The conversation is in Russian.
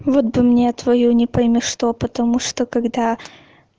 вот бы мне твоё не пойми что потому что когда